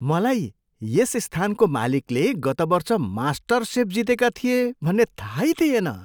मलाई यस स्थानको मालिकले गत वर्ष मास्टरसेफ जितेका थिए भन्ने थाहै थिएन!